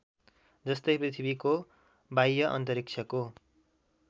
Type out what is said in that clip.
जस्तै पृथ्वी को वाह्य अन्तरिक्षको